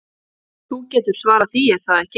Þú getur svarað því, er það ekki?